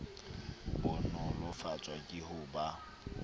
bo nolofatswa ke ho ba